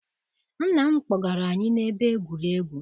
Nna m kpọgara anyị na ebe egwuregwu.